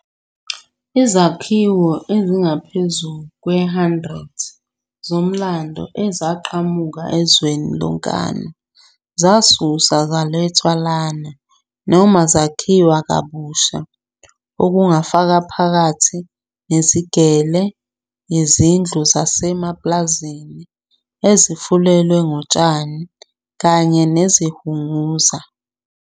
Izakhiwo ezingaphezu kwe-100 zomlando eziqhamuka ezweni lonkana zasuswa zalethwa lana noma zakhiwa kabusha, okufaka phakathi neziGele, izindlu zasemaPlazini, ezifulelwe ngotshani, kanye nezihunguza.